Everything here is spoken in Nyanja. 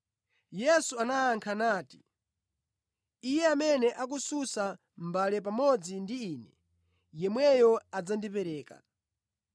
Yesu anayankha nati, “Iye amene akusunsa mʼmbale pamodzi ndi Ine, yemweyo adzandipereka.